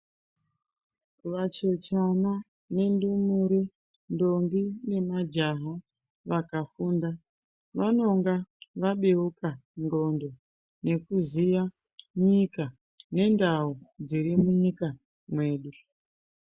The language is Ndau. Vachechana nendumure, ndombi nemajaha vakafunda vanonga vabeuka ndxondo nekuziya nyika nendau dzirimunyika mwedu.